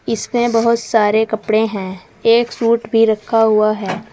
इसमें बोहोत सारे कपड़े हैं। एक सूट भी रखा हुआ है।